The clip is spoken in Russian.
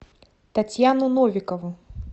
татьяну новикову